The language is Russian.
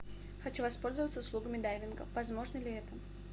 хочу воспользоваться услугами дайвинга возможно ли это